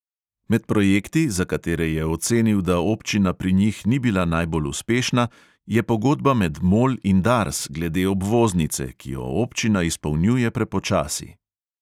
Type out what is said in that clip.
Med projekti, za katere je ocenil, da občina pri njih ni bila najbolj uspešna, je pogodba med mol in dars glede obvoznice, ki jo občina izpolnjuje prepočasi.